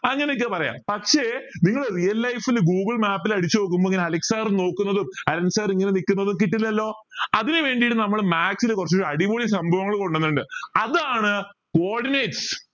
അങ്ങനെയൊക്കെ പറയാം പക്ഷെ നിങ്ങൾ real life ൽ google map ൽ അടിച്ചു നോക്കുമ്പോ ഇങ്ങന അലൻ sir നോക്കുന്നത് അലൻ sir ഇങ്ങനെ നിക്കുന്നതും കിട്ടില്ലല്ലോ അതിന് വേണ്ടി നമ്മൾ maths ൽ കുറച്ച് അടിപൊളി സംഭവങ്ങൾ കൊണ്ടു വന്നിട്ടുണ്ട് അതാണ് coordinates